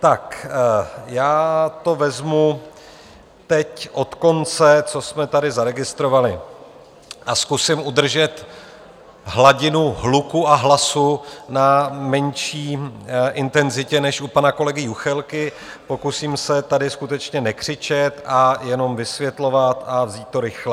Tak já to vezmu teď od konce, co jsme tady zaregistrovali, a zkusím udržet hladinu hluku a hlasu na menší intenzitě než u pana kolegy Juchelky, pokusím se tady skutečně nekřičet a jenom vysvětlovat a vzít to rychle.